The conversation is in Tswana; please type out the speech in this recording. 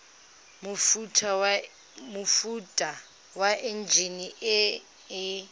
mofuta wa enjine e e